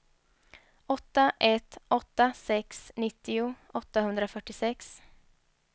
åtta ett åtta sex nittio åttahundrafyrtiosex